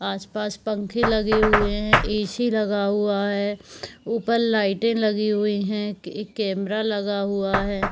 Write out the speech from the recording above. आस - पास पंख लगे हुए हैं ऐ.सी लगा हुआ है ऊपर लाइटें लगी हुई है एक कैमरा लगा हुआ है।